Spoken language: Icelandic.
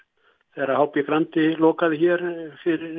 þegar h b Grandi lokaði hér